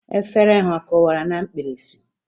Efere ha ọ kụwara na mkpirisi?